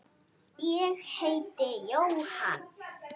Ég heiti Jóhann.